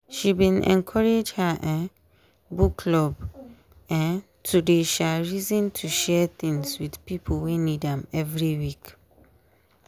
she bin encourage her um book club um to dey um reason to share things with pipo wey need am every week.